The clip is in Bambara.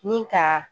Ni ka